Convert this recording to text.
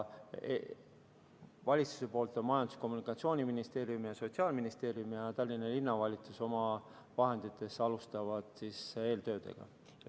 Valitsuse poolt Majandus- ja Kommunikatsiooniministeerium ja Sotsiaalministeerium ning Tallinna Linnavalitsus oma vahenditest alustavad eeltöödega.